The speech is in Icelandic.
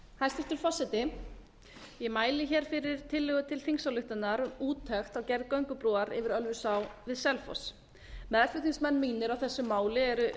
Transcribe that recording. hæstvirtur forseti ég mæli hér fyrir tillögu til þingsályktunar um úttekt á gerð göngubrúar yfir ölfusá við selfoss meðflutningsmenn mínir á þessu máli eru